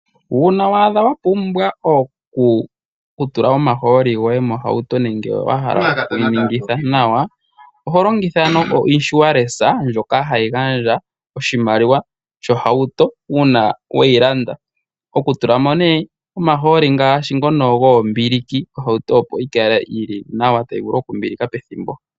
Uuna waadha wa pumbwa oku tula omahooli goye mohauto, nenge wahala okuyi ningitha nawa, oho longitha ekwashilipaleko ndyoka hali gandja oshimaliwa sho haito uuna weyi landa. Oku tulamo ngashi omahooli ngoka goombilike, ohauto opo yi kale yili nawa, tayi vulu oku mbilika pethimbo.